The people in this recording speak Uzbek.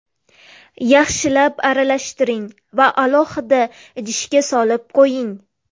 Yaxshilab aralashtiring va alohida idishga solib qo‘ying.